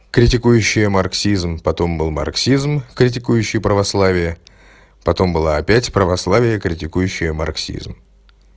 критикующие марксизм потом был марксизм критикующие православие потом было опять православие критикующая марксизм